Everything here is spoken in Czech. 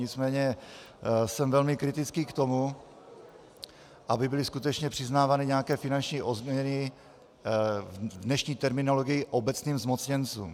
Nicméně jsem velmi kritický k tomu, aby byly skutečně přiznávány nějaké finanční odměny v dnešní terminologii obecným zmocněncům.